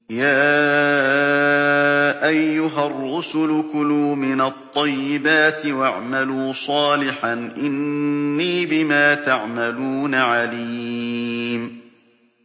يَا أَيُّهَا الرُّسُلُ كُلُوا مِنَ الطَّيِّبَاتِ وَاعْمَلُوا صَالِحًا ۖ إِنِّي بِمَا تَعْمَلُونَ عَلِيمٌ